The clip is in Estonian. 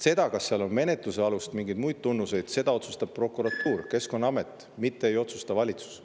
Seda, kas seal on alust menetluseks või on mingeid muid tunnuseid, otsustavad prokuratuur ja Keskkonnaamet, mitte valitsus.